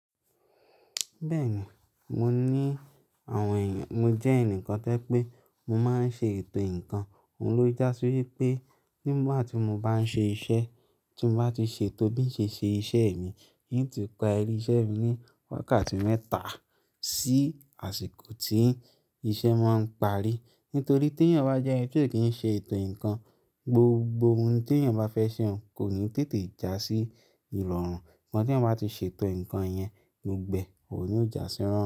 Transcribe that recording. Bẹ́ẹ̀ni, mo ní àwọn èèyàn, mo jẹ́ ẹnìkan tẹ́ pé mo máa ń ṣe ètò ǹkan, òun ló jásí wípé nígbà tí mo bá ń ṣe iṣẹ́, tí mo bá ti ṣètò bí ṣé ṣe iṣẹ́ mi, ìyí tí pa eré iṣẹ́ mi ní wákàtí mẹ́ta sí àsìkò tí iṣẹ́ máa ń parí. Nítorí tí èèyàn bá jẹ́ ẹni tí ò kí ń ṣe ètò ǹkan, gbogbo ohun tí èèyàn bá fẹ́ ṣe òun kò ní tètè jásí ìrorun. Ìgbà tí ẹ̀yán bá ti ṣètò ǹkan yẹn, gbogbo e òun ni yíò jásí irọrùn.